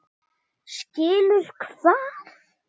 Skilur hvað?